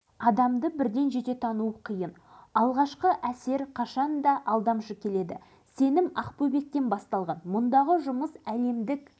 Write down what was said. тоқсаныншы жылдардың басында елбасы нұрсұлтан назарбаев ақтауға барған бір сапарында алашыбай баймырзаев басқаратын ақбөбек аяқ киім фабрикасына арнайы